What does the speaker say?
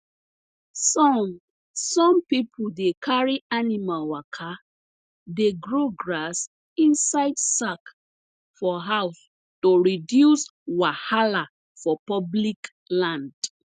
some some people dey carry animal waka dey grow grass inside sack for house to reduce wahala for public land